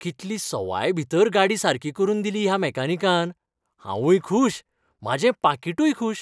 कितली सवायभीतर गाडी सारकी करून दिली ह्या मॅकॅनिकान. हांवूंय खूश, म्हाजें पाकिटूय खूश!